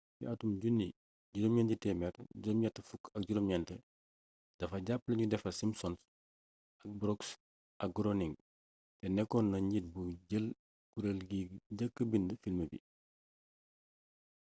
ci atum 1989 dafa jàppale nu defar simpsons yi ak brooks ak groening te nekkoon na njiit buy jël kureel gi njëkka bind film bi